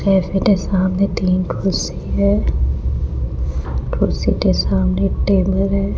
मेरे सामने तीन कुर्सी है कुर्सी के सामने टेबल है।